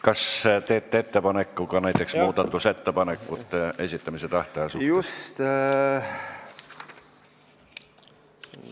Kas teete ettepaneku näiteks muudatusettepanekute esitamise tähtaja kohta?